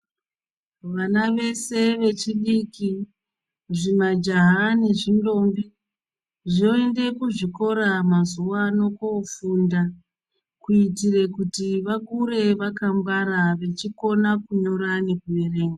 Vana vese vechidiki zvimajaha nezvintombi zvende kuzvikora mazuva ano kofunda kuitire kuti vakure vakangwara vechikone kunyora nekuverenga.